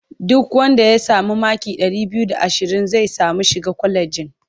Duk wanda ya sami maki ɗari biyu da ashirin zai sami shiga kwalejin.